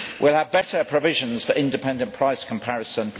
We will have better provisions for independent price comparison